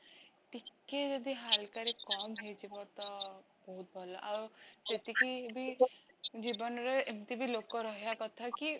ଟିକେ ଯଦି ହାଲ୍କା ରେ କମ ହେଉଇଯିବ ତ ବହୁତ ଭଲ ଆଉ ଯେତିକିବି ଜୀବନରେ ଏମିତିବି ଲୋକ ରହିବା କଥା କି